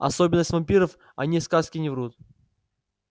особенность вампиров о ней сказки не врут